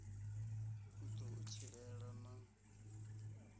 u ḓo u tshilela na